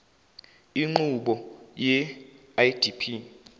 inqubo ye idp